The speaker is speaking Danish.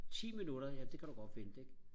ti minutter ja det kan du godt vente ikke